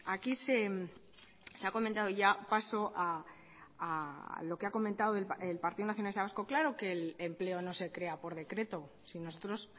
aquí se ha comentado ya paso a lo que ha comentado el partido nacionalista vasco claro que el empleo no se crea por decreto si nosotros